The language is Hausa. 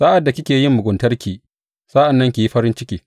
Sa’ad da kike yin muguntarki sa’an nan ki yi farin ciki.